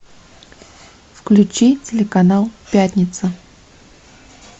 включи телеканал пятница